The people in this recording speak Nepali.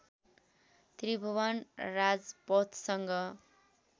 त्रिभुवन राजपथसँग